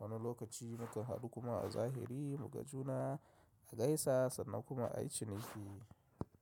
wani lokaci mu kan haɗu kuma a zahiri mu gajuna a gaisa sannan kuma a yi ciniki.